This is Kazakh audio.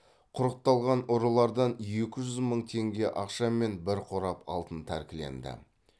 құрықталған ұрылардан екі жүз мың теңге ақша мен бір қорап алтын тәркіленді